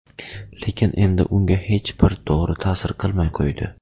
Lekin endi unga hech bir dori ta’sir qilmay qo‘ydi.